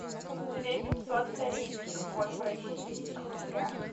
две пятьсот корейских вон в российских рублях